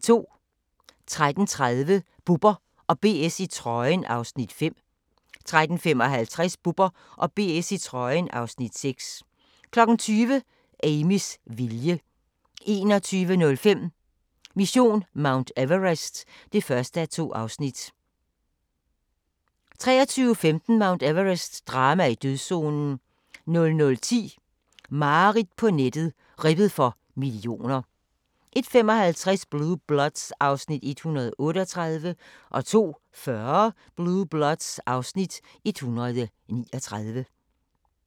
13:30: Bubber & BS i trøjen (Afs. 5) 13:55: Bubber & BS i trøjen (Afs. 6) 20:00: Amys vilje 21:05: Mission Mount Everest (1:2) 23:15: Mount Everest - drama i dødszonen 00:10: Mareridt på nettet – ribbet for millioner 01:55: Blue Bloods (Afs. 138) 02:40: Blue Bloods (Afs. 139)